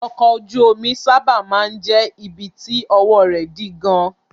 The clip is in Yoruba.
Ọkọ̀ ojú omi sábà máa ń jẹ́ ibi tí ọwọ́ rẹ̀ dí gan-an.